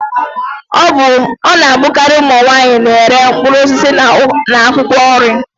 Ọ na-abụkari ụmụ nwaanyi na-ere mkpụrụ osisi na akwụkwọ nri.